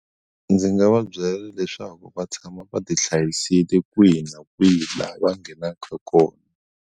Ndzi nga va byela leswaku va tshama va ti hlayisile kwihi na kwihi laha va nghenaka kona.